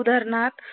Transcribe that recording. उदानहार्थ